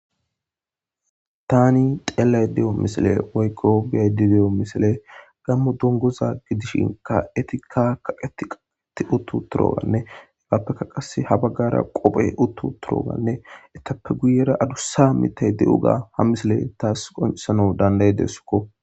Tani xeellay de7o misile woykko biyay dideyo misile gammo dongoza gidishinka etikka kaqeti qaqeti uttu turoganne hegaappekka qase ha baggara qophe uttu turoganne etappe guyera adussa mitay de7u ga ha misile taas qonsano danday deesukko.